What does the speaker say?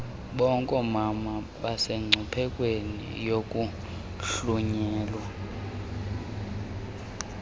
bonkomama basemngciphekweni wokuhlunyelwa